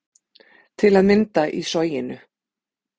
Til að mynda í Soginu